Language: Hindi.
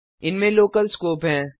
इनमें लोकल स्कोप हैं